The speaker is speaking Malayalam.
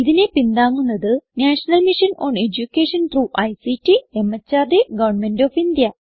ഇതിനെ പിന്താങ്ങുന്നത് national mission on education through ICT MHRD government of India